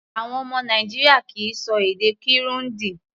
Àwọn ọmọ Nàìjíríà kì í ṣọ èdè Kirundi.